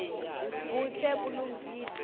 budze bulungile